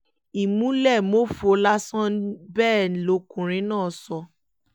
ìmùlẹ̀-mófo lásán ni bẹ́ẹ̀ lọkùnrin náà sọ